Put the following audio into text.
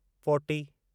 forty